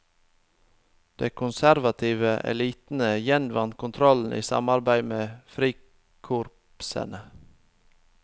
De konservative elitene gjenvant kontrollen i samarbeid med frikorpsene.